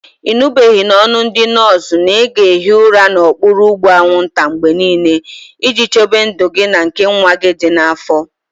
Ị nụbeghị n'ọnụ ndị nọọsụ na ị ga-ehi ụra n'okpuru ụgbụ anwụnta mgbe niile, iji chebe ndụ gị na nke nwa gị dị n'afọ?